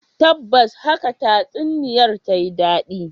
Tabbas haka tatsuniyar ta yi dadi